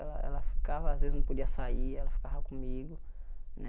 Ela ela ficava, às vezes não podia sair, e ela ficava comigo né.